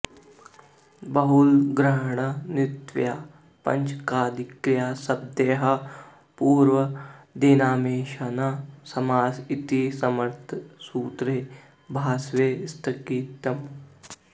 बहुलग्रहणानुवृत्त्या पाचकादिक्रियाशब्दैः पूर्वादीनामेषां न समास इति समर्थसूत्रे भाष्ये स्थितम्